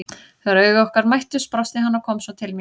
Þegar augu okkar mættust brosti hann og kom svo til mín.